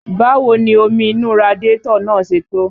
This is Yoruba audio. Báwo ni omi inú radiátọ̀ náà ṣe tó?